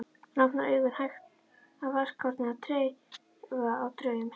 Hann opnar augun, hægt, af varkárni, af trega og draum